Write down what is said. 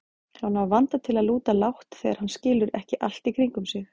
Hann á vanda til að lúta lágt þegar hann skilur ekki allt í kringum sig.